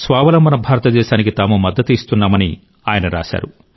స్వావలంబన భారతదేశానికి తాము మద్దతు ఇస్తున్నామని ఆయన రాశారు